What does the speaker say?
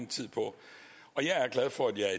tid på og jeg er glad for at jeg